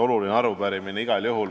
Oluline arupärimine igal juhul.